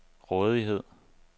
rådighed